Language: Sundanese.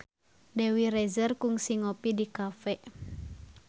Dewi Rezer kungsi ngopi di cafe